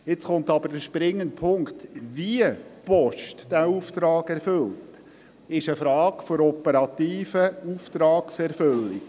Nun kommt aber der springende Punkt: Wie die Post diese Aufgabe erfüllt, ist eine Frage der operativen Auftragserfüllung.